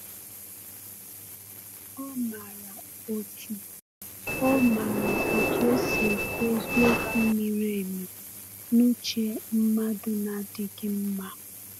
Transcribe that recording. Ọ maara otu Ọ maara otu esi ekwu eziokwu miri emi n’uche mmadụ na-adịghị mma.